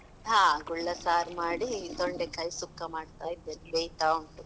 ಹಾ ಗುಳ್ಳ ಸಾರ್ ಮಾಡಿ, ತೊಂಡೆ ಕಾಯಿ ಸುಕ್ಕ ಮಾಡ್ತಾ ಇದ್ದೇನೆ, ಬೇಯ್ತ ಉಂಟು.